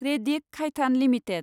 रेडिक खायथान लिमिटेड